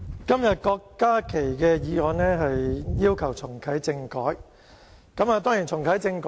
今天郭家麒議員這項議案是要求重啟政改。